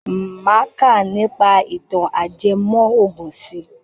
Máa kà nípa ìtàn ajẹmọ́ ògùn si.